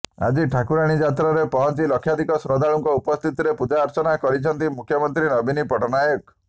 ଆଜି ଠାକୁରାଣୀ ଯାତ୍ରାରେ ପହଂଚି ଲକ୍ଷାଧିକ ଶ୍ରଦ୍ଧାଳୁଙ୍କ ଉପସ୍ଥିତିରେ ପୂଜାର୍ଚ୍ଚନା କରିଛନ୍ତି ମୁଖ୍ୟମନ୍ତ୍ରୀ ନବୀନ ପଟ୍ଟନାୟକ